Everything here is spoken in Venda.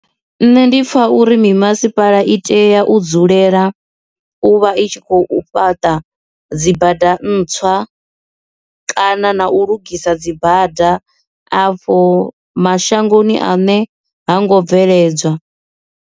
Nṋe ndi pfha uri mimasipala i tea u dzulela u vha i tshi khou fhaṱa dzi badani ntswa kana na u lugisa dzibada afho mashangoni ane ha ngo bveledzwa.